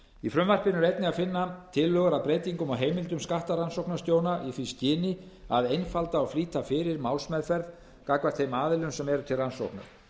er einnig að finna tillögu að breytingum á heimildum skattrannsóknarstjóra í því skyni að einfalda og flýta fyrir málsmeðferð gagnvart þeim aðilum sem eru til rannsóknar